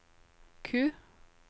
Q